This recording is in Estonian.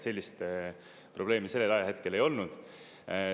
Sellist probleemi sellel ajahetkel ei olnud.